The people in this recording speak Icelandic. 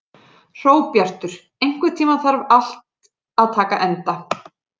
Hróbjartur, einhvern tímann þarf allt að taka enda.